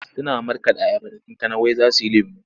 Suna markaɗa ayaba da kankana wai za su yi lemo.